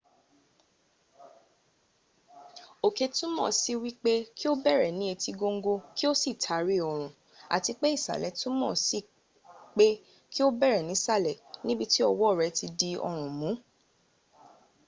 òkè túmọ̀ sí wípé kí o bẹ̀rẹ̀ ní etí góńgó kí o sì taari ọrún àti pé ìsàlẹ̀ túmọ̀ sí pé kí o bẹ̀rẹ̀ nísàlẹ̀ níbití ọwọ́ rẹ ti di ọrún mún